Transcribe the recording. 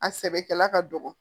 A sɛbɛkɛla ka dɔgɔ